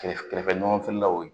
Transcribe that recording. Kɛrɛfɛ kɛrɛfɛɲɔgɔnfilaw